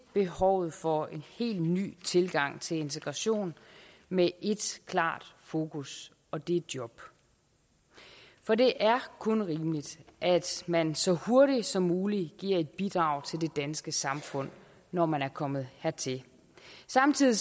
behovet for en helt ny tilgang til integration med ét klart fokus og det er job for det er kun rimeligt at man så hurtigt som muligt giver et bidrag til det danske samfund når man er kommet hertil samtidig